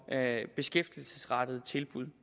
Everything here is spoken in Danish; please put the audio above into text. beskæftigelsesrettede tilbud